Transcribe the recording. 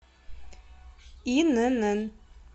инн